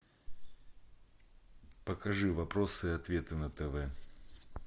покажи вопросы и ответы на тв